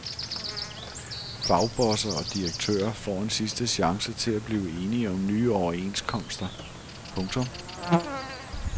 Fagbosser og direktører får en sidste chance til at blive enige om nye overenskomster. punktum